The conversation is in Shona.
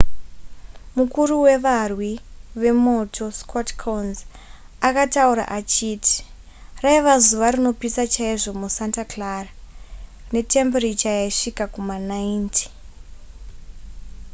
mukuru wevarwi vemoto scott kouns akataura achiti raiva zuva rinopisa chaizvo musanta clara netembiricha yaisvika kuma90